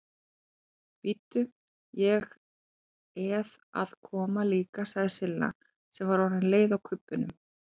Bíddu, ég eð að koma líka sagði Silla sem var orðin leið á kubbunum.